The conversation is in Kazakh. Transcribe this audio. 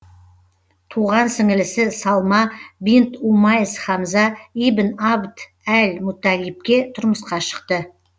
тұған сіңлісі салма бинт умайс хамза ибн абд әл мутталибке тұрмысқа шықты